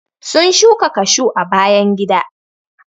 sun shuka cashew a bayan gida.